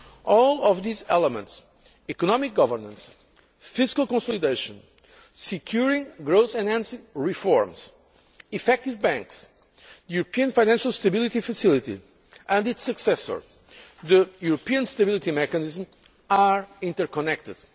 euro. All of these elements economic governance, fiscal consolidation, securing growth enhancing reforms, effective banks, the European Financial Stability Facility, and its successor, the European Stability Mechanism are interconnected.